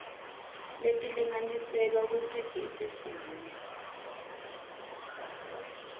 letilinganiselwa kusigidzi sinye